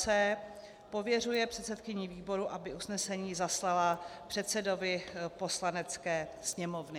c) pověřuje předsedkyni výboru, aby usnesení zaslala předsedovi Poslanecké sněmovny.